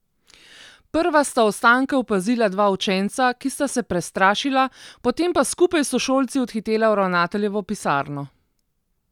Prva sta ostanke opazila dva učenca, ki sta se prestrašila, potem pa skupaj s sošolci odhitela v ravnateljevo pisarno.